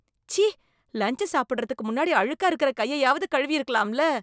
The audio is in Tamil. ச்சீ! லன்ச் சாப்பிடுறதுக்கு முன்னாடி அழுக்கா இருக்குற கையையாவது கழுவியிருக்கலாம்ல.